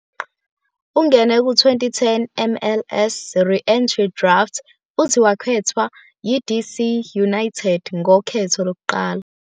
Ungene ku- 2010 MLS Re-Entry Draft futhi wakhethwa yiDC United ngokhetho lokuqala.